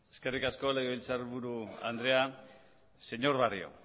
eskerrik asko legebiltzarburu andrea señor barrio